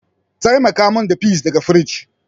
Taimaka min da peas daga firij.